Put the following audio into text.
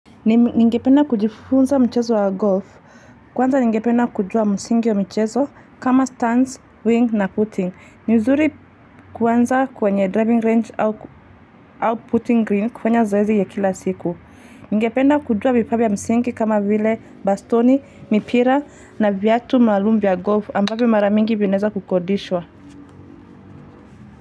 Ningependa kujifunza mchezo wa golf. Kwanza ningependa kujua msingi wa mchezo kama stands, wing na putting. Ni vizuri kuanza kwenye driving range au putting green kufanye zoezi ya kila siku. Ningependa kujua vifaa vya msingi kama vile bastoni, mipira na viatu maalum vya golf ambavyo mara mingi vinaweza kukodishwa.